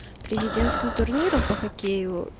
президентским турниром по хоккею